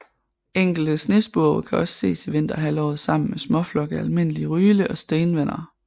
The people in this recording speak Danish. Enkelte snespurve kan også ses i vinterhalvåret sammen med småflokke af almindelig ryle og stenvender